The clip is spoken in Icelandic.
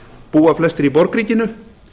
búa flestir í borgríkinu